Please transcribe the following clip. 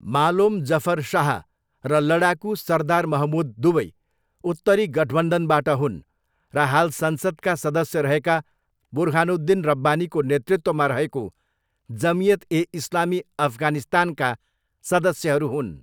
मालोम जफर शाह र लडाकु सरदार महमूद दुवै 'उत्तरी गठबन्धन'बाट हुन् र हाल संसदका सदस्य रहेका बुर्हानुद्दिन रब्बानीको नेतृत्वमा रहेको जमियत ए इस्लामी अफगानिस्तानका सदस्यहरू हुन्।